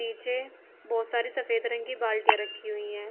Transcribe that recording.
नीचे बहुत सारी सफेद रंग की बाल्टीयां रखी हुई हैं।